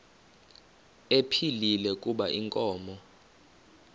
ephilile kuba inkomo